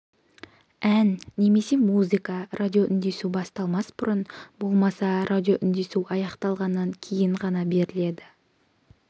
ән немесе музыка радиоүндесу басталмас бұрын болмаса радиоүндесу аяқталғаннан кейін ғана беріледі